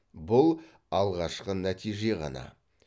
бұл алғашқы нәтиже ғана